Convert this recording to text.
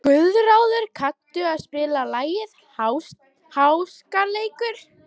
Guðráður, kanntu að spila lagið „Háskaleikur“?